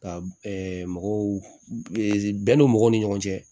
Ka mɔgɔw bɛn don mɔgɔw ni ɲɔgɔn cɛ